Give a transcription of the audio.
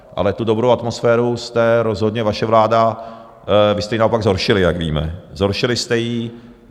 Ale tu dobrou atmosféru jste rozhodně, vaše vláda, vy jste ji naopak zhoršili, jak víme, zhoršili jste ji.